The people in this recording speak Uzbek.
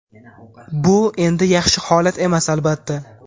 bu endi yaxshi holat emas, albatta.